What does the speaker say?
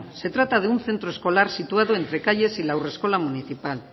se trata de un centro escolar situado entre calles y la haurreskola municipal